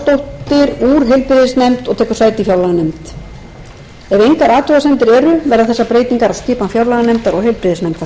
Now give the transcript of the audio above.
úr heilbrigðisnefnd og tekur sæti í fjárlaganefnd ef engar athugasemdir eru verða þessar breytingar á skipan fjárlaganefndar og heilbrigðisnefndar